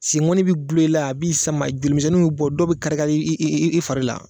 Se ŋɔni be dulon i la, a b'i sama joli misɛnninw be bɔ, dɔw be kari kari i i i i fari la